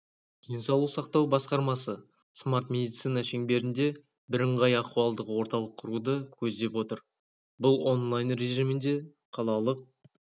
денсаулық сақтау басқармасы смарт медицина шеңберінде бірыңғай ахуалдық орталық құруды көздеп отыр бұл онлайн режимінде қалалық